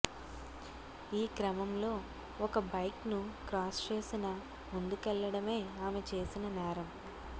ఈ క్రమంలో ఒక బైక్ను క్రాస్ చేసిన ముందుకెళ్లడమే ఆమె చేసిన నేరం